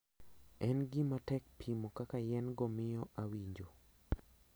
En gima tek pimo kaka yien go miyo awinjo.